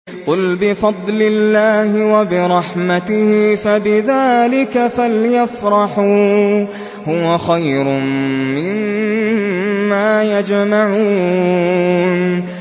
قُلْ بِفَضْلِ اللَّهِ وَبِرَحْمَتِهِ فَبِذَٰلِكَ فَلْيَفْرَحُوا هُوَ خَيْرٌ مِّمَّا يَجْمَعُونَ